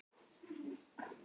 Svo er það sundið.